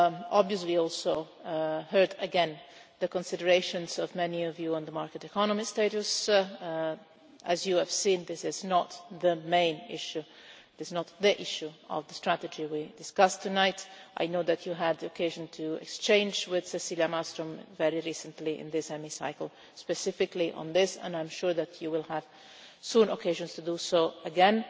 Obviously I also heard again the considerations of many of you on the market economy status, as you have seen this is not the main issue, it is not the issue of the strategy we discuss tonight, I know that you had occasion to exchange with Cecila Malmström very recently in this Hemicycle specifically on this, and I am sure that you will have soon occasions to do so again.